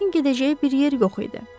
Kriskin gedəcəyi bir yer yox idi.